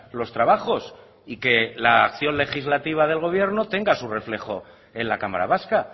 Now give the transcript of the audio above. los trabajos y que la acción legislativa del gobierno tenga su reflejo en la cámara vasca